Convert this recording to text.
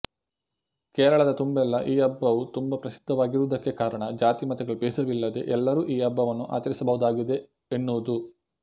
ಕೇರಳದ ತುಂಬೆಲ್ಲ ಈ ಹಬ್ಬವು ತುಂಬಾ ಪ್ರಸಿದ್ಧವಾಗಿರುವುದಕ್ಕೆ ಕಾರಣ ಜಾತಿ ಮತಗಳ ಭೇದವಿಲ್ಲದೆ ಎಲ್ಲರೂ ಈ ಹಬ್ಬವನ್ನು ಆಚರಿಸಬಹುದಾಗಿದೆ ಎನ್ನುವುದು